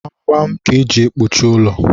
gbamgbam ka eji ekpuchi ụlọ.